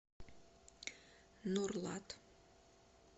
нурлат